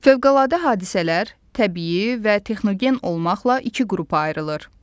Fövqəladə hadisələr təbii və texnogen olmaqla iki qrupa ayrılır.